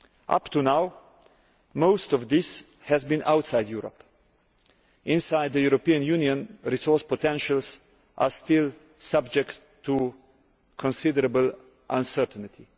Up to now, most of this has been outside Europe. Inside the European Union resource potentials are still subject to considerable uncertainty.